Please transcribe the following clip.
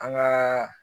An gaa